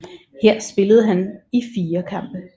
Her spillede han spillede i fire kampe